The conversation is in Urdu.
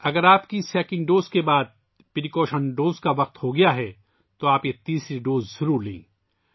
اگر آپ کی دوسری خوراک کے بعد احتیاطی خوراک کا وقت ہوگیا ہے، تو آپ یہ تیسری خوراک ضرور لیں